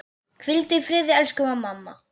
Hvíldu í friði elsku mamma.